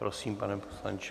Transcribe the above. Prosím, pane poslanče.